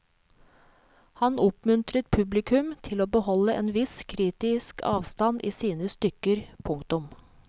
Han oppmuntret publikum til å beholde en viss kritisk avstand i sine stykker. punktum